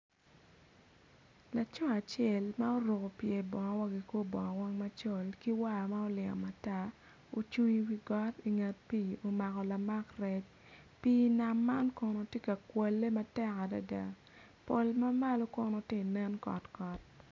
Laco acel ma oruko pyer bongo wa ki kor bongo weng macol ki war ma ma olingo matar, ocung iwi got inget pii omako lamak rec pii nam man Kono tye ka kwalle matek adada pol ma malo Kono ti nen kotkot.